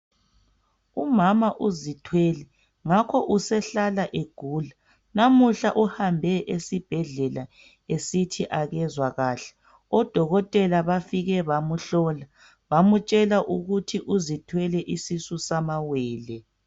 Umama uzithwele ngakho usehlala egula lamuhla uhambe esibhedlela esithi akezwa kahle odokotela bafike bamhlola bamtshela ukuthi uzithwele isisu samawele.